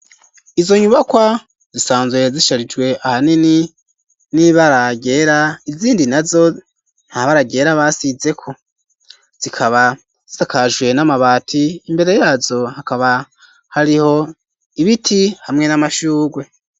Izo nyubakwa, zisanzwe zisharijwe ahanini n'ibara ryera, izindi nazo nta bara ryera basizeko, zikaba zisakajwe n'amabati, imbere yazo hakaba hariho ibiti, hamwe n'amashurwe.